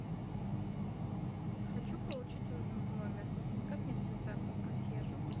хочу получить ужин в номер как мне связаться с консьержем